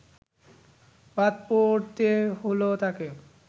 বাদ পড়তে হল তাঁকে